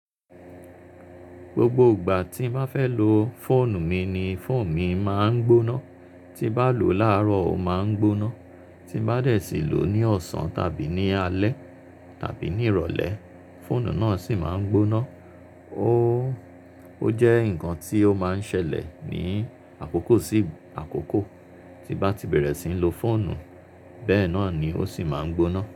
Gbogbo ìgbà tí n bá fẹ́ lo fóònù mi ni fóònù mi máa ń gbóná. Tí n bá lò láàárọ̀ ó máa ń gbóná, tí n bá dè sí lò ní ọ̀sán tàbí ní alẹ́ tàbí ní ìrọ̀lẹ́, fóònù náà sì máa ń gbóná. Ó, ó jẹ́ ǹkan tí ó máa ń ṣẹlẹ̀ ní àkókò sí àkókò. Tí n bá ti bẹ̀rẹ̀ síi lo fóònù bẹ́ẹ̀ náà ni ó sì máa ń gbóná.